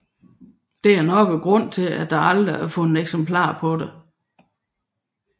Dette er nok grunden til at der aldrig er fundet eksempler på dette